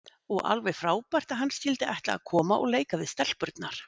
Og alveg frábært að hann skyldi ætla að koma og leika við stelpurnar.